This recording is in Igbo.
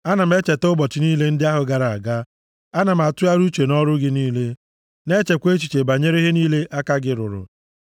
Ana m echeta ụbọchị niile ndị ahụ gara aga; ana m atụgharị uche nʼọrụ gị niile na-echekwa echiche banyere ihe niile aka gị rụrụ.